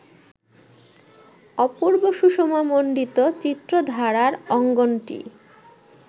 অপূর্ব সুষমামণ্ডিত চিত্রধারার অঙ্গনটি